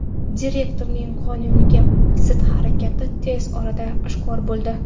Direktorning qonunga zid harakati tez orada oshkor bo‘ldi.